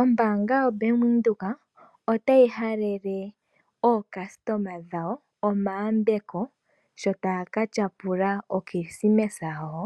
Ombaanga yoBank Windhoek otayi halele aakuthimbinga yawo omayambeko sho taya ka tyapula okilisimesa yawo